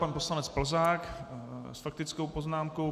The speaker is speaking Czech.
Pan poslanec Plzák s faktickou poznámkou.